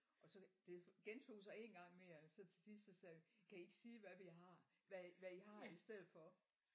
Og så det det gentog sig en gang mere og så til sidst så sagde vi kan i ikke sige hvad vi har hvad hvad i har i stedet for